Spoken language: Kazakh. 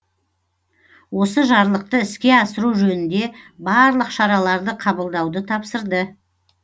осы жарлықты іске асыру жөнінде барлық шараларды қабылдауды тапсырды